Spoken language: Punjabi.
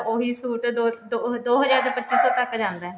ਉਹੀ suit ਦੋ ਹਜ਼ਾਰ ਦੋ ਹਜ਼ਾਰ ਜਾ ਪੱਚੀ ਸੋ ਤੱਕ ਜਾਂਦਾ